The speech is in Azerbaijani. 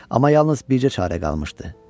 Amma yalnız bircə çarə qalmışdı.